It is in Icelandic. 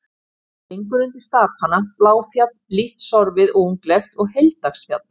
Hún gengur undir stapana Bláfjall, lítt sorfið og unglegt, og Heilagsdalsfjall.